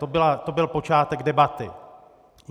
To byl počátek debaty.